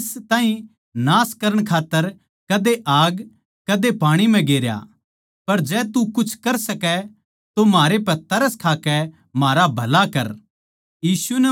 उसनै इस ताहीं नाश करण खात्तर कदे आग अर कदे पाणी म्ह गेरया पर जै तू कुछ कर सकै तो म्हारै पै तरस खाकै म्हारा भला कर